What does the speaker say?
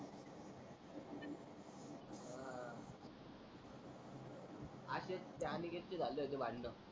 असेच त्या अनिकेत चे झाले होते भांडण.